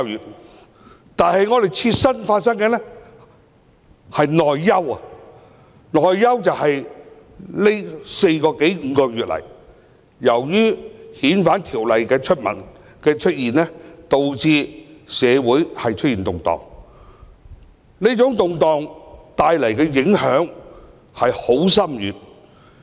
我們的切身問題是內憂，這四個多五個月以來，由於政府提出修訂《逃犯條例》，導致社會出現動盪，帶來了深遠的影響。